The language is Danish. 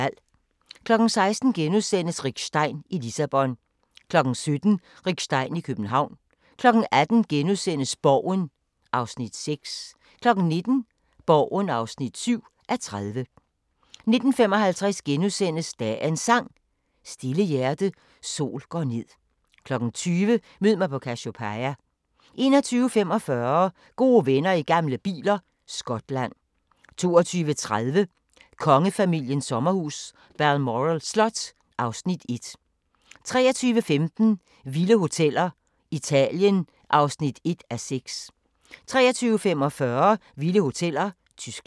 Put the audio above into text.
16:00: Rick Stein i Lissabon * 17:00: Rick Stein i København 18:00: Borgen (6:30)* 19:00: Borgen (7:30) 19:55: Dagens Sang: Stille hjerte, sol går ned * 20:00: Mød mig på Cassiopeia 21:45: Gode venner i gamle biler – Skotland 22:30: Kongefamiliens sommerhus – Balmoral Slot (Afs. 1) 23:15: Vilde hoteller: Italien (1:6) 23:45: Vilde hoteller: Tyskland